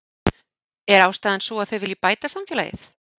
Er ástæðan sú að þau vilji bæta samfélagið?